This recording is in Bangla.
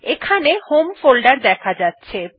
এখানে হোম ফোল্ডার দেখা যাচ্ছে